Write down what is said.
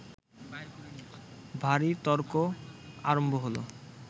ভারি তর্ক আরম্ভ হল